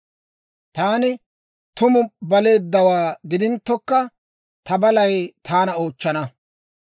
Taani tumu baleeddawaa gidinttokka, ta balay taana oochchana.